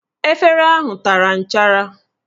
Efere ahụ tara nchara